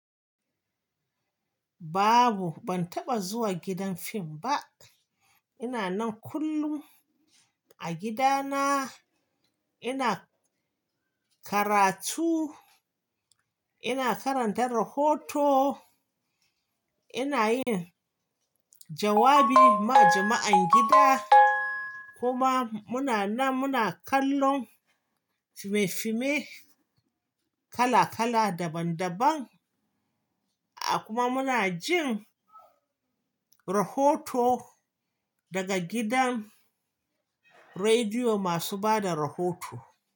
Babu, ban taɓa zuwa gidan fim ba. Ina nan kullum a gida na ina karatu, ina karanta rahoto. Ina yin jawabi ma jama'an gida, kuma muna nan muna kallon fimae-fime kala-kala, daban-daban, kuma muna jin rahoto. Daga gidan rediyo masu bada rahoto.